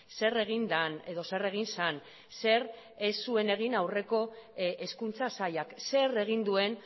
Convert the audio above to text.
zer egin den edo zer egin zen zer ez zuen egin aurreko hezkuntza sailak zer egin duen